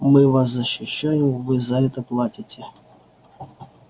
мы вас защищаем вы за это платите